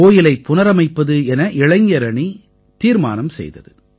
கோயிலைப் புனரமைப்பது என இளைஞரணி தீர்மானம் செய்தது